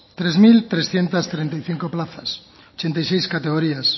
tres mil trescientos treinta y cinco plazas ochenta y seis categorías